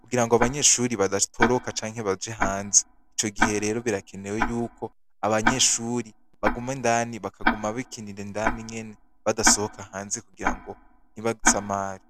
kugira ngo abanyeshuri badatoroka canke baje hanze, ico gihe rero birakenewe yuko abanyeshuri baguma indani bakaguma bikinira indani nyene badasohoka hanze kugira ngo ntibasamare.